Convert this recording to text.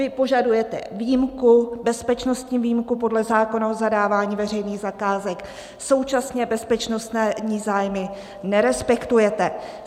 Vy požadujete výjimku, bezpečnostní výjimku podle zákona o zadávání veřejných zakázek, současně bezpečnostní zájmy nerespektujete.